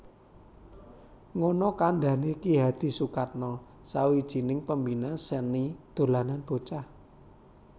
Ngono kandhane Ki Hadi Sukatno sawijining Pembina seni dolanan bocah